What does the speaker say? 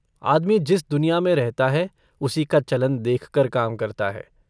आदमी जिस दुनिया में रहता है उसी का चलन देखकर काम करता है।